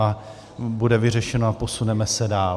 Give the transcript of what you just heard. A bude vyřešeno a posuneme se dál.